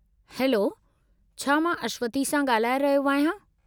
Hello, छा मां अश्वथी सां ॻाल्हाए रहियो आहियां?